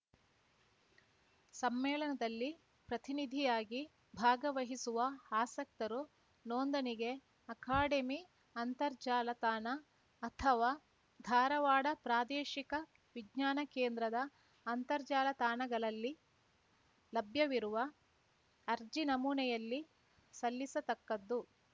ಸಮ್ಮೇಳನದಲ್ಲಿ ಪ್ರತಿನಿಧಿಯಾಗಿ ಭಾಗವಹಿಸುವ ಆಸಕ್ತರು ನೋಂದಣಿಗೆ ಅಕಾಡೆಮಿ ಅಂತರ್ಜಾಲ ತಾಣ ಅಥವಾ ಧಾರವಾಡ ಪ್ರಾದೇಶಿಕ ವಿಜ್ಞಾನ ಕೇಂದ್ರದ ಅಂತರ್ಜಾಲ ತಾಣಗಳಲ್ಲಿ ಲಭ್ಯವಿರುವ ಅರ್ಜಿ ನಮೂನೆಯಲ್ಲಿ ಸಲ್ಲಿಸತಕ್ಕದ್ದು